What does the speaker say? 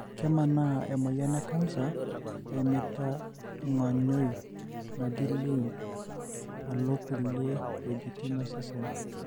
kemanaa emoyian ecanser eimita ongonyoi naaji lymph alo kulie weujitin osesen.